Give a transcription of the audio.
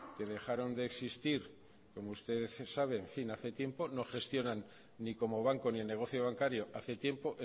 que dejaron de existir como usted sabe hace tiempo no gestionan ni como banco ni el negocio bancario hace tiempo